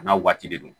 A n'a waati de don